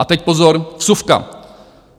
A teď, pozor, vsuvka.